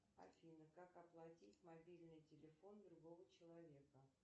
афина как оплатить мобильный телефон другого человека